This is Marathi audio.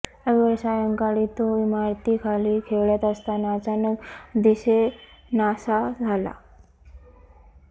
रविवारी सायंकाळी तो इमारतीखाली खेळत असताना अचानक दिसेनासा झाला